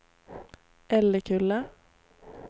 Älekulla